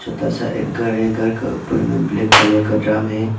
छोटा सा एक घर है घर के ऊपर में ब्लैक कलर का ड्रम है।